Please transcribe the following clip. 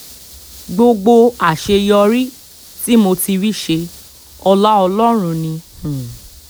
gbogbo àṣeyọrí tí mo ti rí ṣe ọlá ọlọ́run ni um